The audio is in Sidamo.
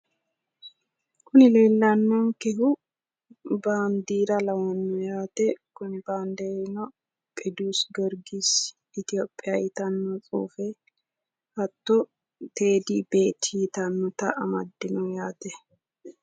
Kuni leellannonkehu baandiira lawanno yaate. Kuni baandiirino qidduusi giyorgisi itiyopiya yitanno tsuufe, hatto teedi beeti yitannota amaddino yaate.